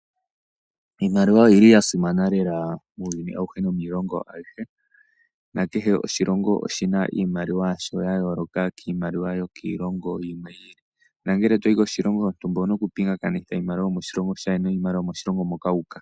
Iimaliwa oya simana lela muuyuni auhe nomiilongo aihe , nakehe oshilongo oshi na iimaliwa yasho ya yooloka kiimaliwa yokiilongo yilwe. Ngele to yi koshilongo shontumba owu na okupingakanitha iimaliwa yomoshilongo niimaliwa yomoshilongo shoka.